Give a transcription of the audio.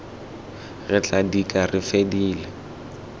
re tla dika re fedile